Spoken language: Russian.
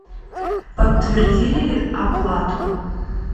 подтвердили ли оплату